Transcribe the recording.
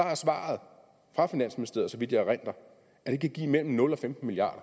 er svaret fra finansministeriet så vidt jeg erindrer at det kan give mellem nul og femten milliard